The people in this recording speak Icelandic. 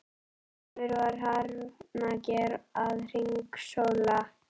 Þar yfir var hrafnager að hringsóla.